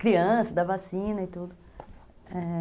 criança, da vacina e tudo, é.